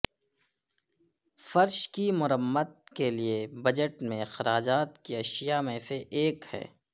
فرش کی مرمت کے لئے بجٹ میں اخراجات کی اشیاء میں سے ایک ہے